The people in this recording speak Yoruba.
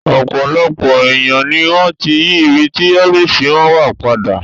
Ọ̀pọ̀lọpọ̀ èèyàn ni wọ́n ti yí ibi tí ọ́fíìsì wọn wà padà